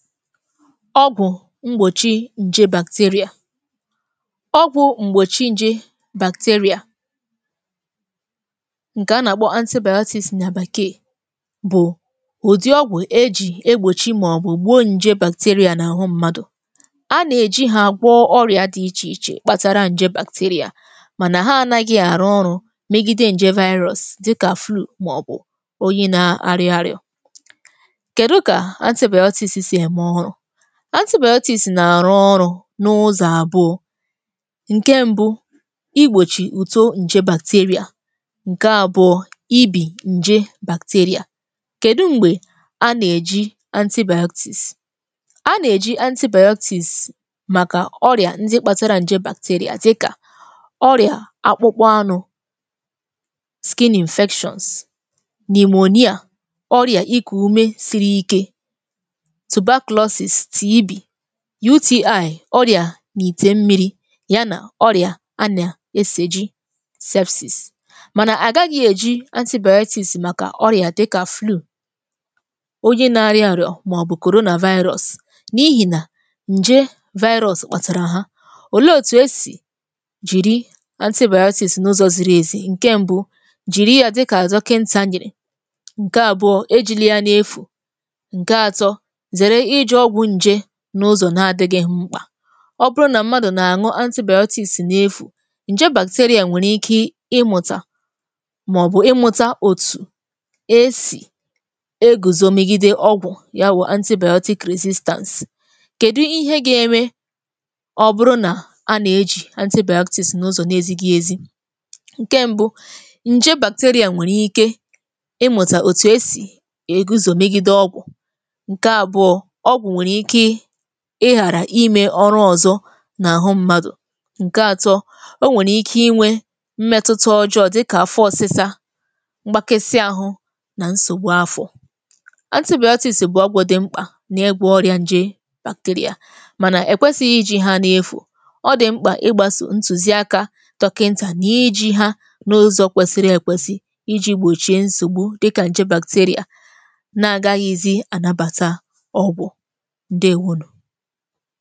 Ọgwụ̀ mgbòchi ǹje bacteria. Ọgwụ̀ m̀gbòchi ǹje bacteria ǹkè a nà-àkpọ antibiotics nà bekeè bụ̀ ụ̀dị ọgwụ̀ e jì egbòchi màọ̀bụ̀ gbuo ǹje bacteria n’àhụ mmadụ̀. A nà-èji ha agwọ ọrị̀a dị ichè ichè kpatara ǹje bacteria mànà ha anaghị̇ àrụ ọrụ megide ǹje virus dịkà flu màọ̀bụ̀ oyi na-arị arịọ. Kedu ka antibiotics si eme ọrụ? Antibiotics na-arụ ọrụ n’ụzọ̀ abụọ̀; nke mbụ, igbochi uto nje bacteria, nke abụọ̀ ibi nje bacteria. Kedu mgbe a na-eji antibiotics? A na-eji antibiotics maka ọrịa ndị kpatara nje bacteria dịka ọrịa akpụkpọ anụ skin infections pneumonia ọrịa iku ume siri ike tuberculosis TB, UTI ọrịà n’ìtè mmiri̇ ya nà ọrịà a nà esejì sepsis. Mànà àgaghị̇ èji antibiotics màkà ọrịà dịkà flu onye na-arị àrịọ̇ màọ̀bụ̀ Coronavirus n’ihì nà ǹje virus kpàtàrà ha. Òle òtù esì jìri antibiotics n’ụzọ ziri èzì? Nke mbu, jìri ya dịkà dọkịnta nyèrè, ǹke àbụọ ejila ya n’efù, ǹke atọ zere iji ọgwụ ǹje n’ụzọ̀ na adị̇ghị̇ mkpà. Ọ bụrụ nà mmadụ̀ nà-àñụ antibiotics n’efù ǹje bacteria nwèrè ike ịmụ̀tà màọbụ̀ ịmụ̀tà òtù esì egùzò megide ọgwụ̀ ya wụ̀ antibiotic resistance. Kèdu ihe ga-eme ọ bụrụ nà a nà-ejì antibiotics n’ụzọ̀ na-ezigì ezi? Nke mbu, ǹje bacteria nwèrè ike ịmụ̀tà òtù esì èguzò megide ọgwụ̀ nke abụọ, ọgwụ nwere ike ihàrà ime ọrụ ọzọ nà àhụ mmadụ̀, ǹke atọ, o nwèrè ike inwe mmẹtụta ọjọọ dịkà afọ ọsịsa, mgbakasị àhụ nà nsògbu afọ̀. Antibiotics bụ ọgwụ dị mkpà nà ịgwọ ọrịa ǹje bacteria, mànà èkwesi iji̇ ha nà-efù. Ọ dị̀ mkpà ịgbasò ntùzi akȧ dọkịntà nà iji̇ ha n’ụzọ kwẹ̀sịrị èkwesi iji̇ gbòchie nsògbu dịkà ǹje bacteria na-àgaghịzi ànabàta ọgwụ, ǹdeèwonù